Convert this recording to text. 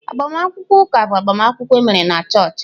Agbamakwụkwọ ụka bụ agbamakwụkwọ emere na chọọchị.